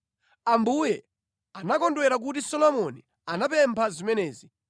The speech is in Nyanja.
Ambuye anakondwera kuti Solomoni anapempha zimenezi.